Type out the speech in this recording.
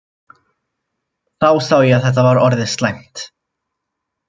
Þá sá ég að þetta væri orðið slæmt.